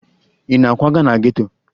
Ị na-akwaga na geto?